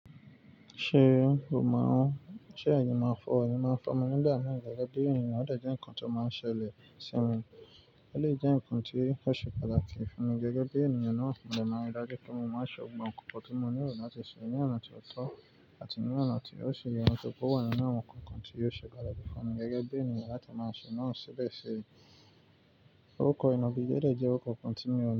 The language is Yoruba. Ṣé o mọ̀ ọ́n, ṣe ẹ̀yin máa ń fọ, ẹ̀yin máa ń fọ mí nigbà mi gẹ́gẹ́ bí ènìyàn, ó dè jẹ́ ǹkan tó máa ń ṣẹlẹ̀ sí mi. Ó lè jẹ́ ǹkan tí ó ṣe pàtàkì fún mi gẹ́gẹ́ bí ènìyàn náà fún mi lẹ́mọ́ ìdájí pé mo máa ṣọ gbogbo ǹkan tí mo nílò láti ṣe ní ọ̀nà tó tọ́ àti ní ọ̀nà tí ó ṣe ye tori pe oò wà nínú àwọn ǹkan kan tí yóò ṣe pataki fún mi gẹ́gẹ́ bí ènìyàn láti máa ṣe náà sì bẹ́ẹ̀ ṣí. Òkò ìnàgijẹ́ dè jẹ́ òrukò continuous.